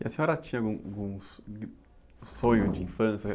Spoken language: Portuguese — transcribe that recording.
E a senhora tinha algum, algum, sonho de infância?